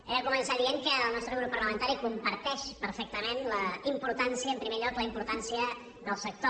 he de començar dient que el nostre grup parlamentari comparteix perfectament en primer lloc la importància del sector